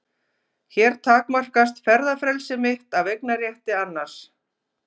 Hér takmarkast ferðafrelsi mitt af eignarétti annars.